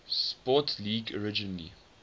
sports league originally